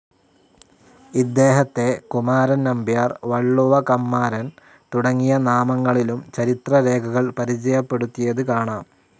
ഇദ്ദേഹത്തെ കുമാരൻ നമ്പ്യാർ, വളളുവ കമ്മാരൻ തുടങ്ങിയ നാമങ്ങളിലും ചരിത്ര രേഖകൾ പരിചയപ്പെടുത്തിയത്‌ കാണാം.